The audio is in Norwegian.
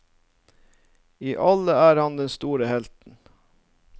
I alle er han den store helten.